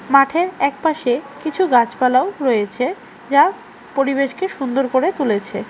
মাঠের একপাশে কিছু গাছপালাও রয়েছে যা পরিবেশকে সুন্দর করে তুলেছে।